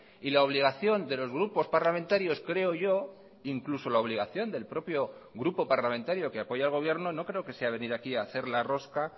y la obligación de los grupos parlamentarios creo yo incluso la obligación del propio grupo parlamentario que apoya al gobierno no creo que sea venir aquí a hacer la rosca